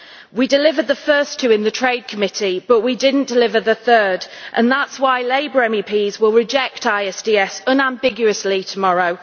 We delivered the first two in the Trade Committee, but we did not deliver the third, and that is why Labour MEPs will reject ISDS unambiguously tomorrow.